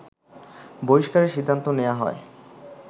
বহিষ্কারের সিদ্ধান্ত নেয়া হয়